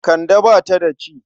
Kande ba ta da ciki.